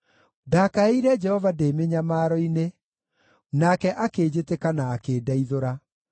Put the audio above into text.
Ndakaĩire Jehova ndĩ mĩnyamaro-inĩ, nake akĩnjĩtĩka na akĩndeithũra.